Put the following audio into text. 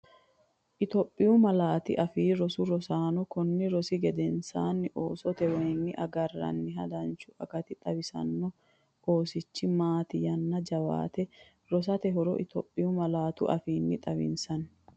Itophiyu Malaatu Afii Roso Rosaano konni rosi gedensaanni Oosotewayinni agarranniha danchu akati xawisaano oosichi- Mate yanna jawaate rosate horo Itophiyu malaatu afiinni Xawissinanni.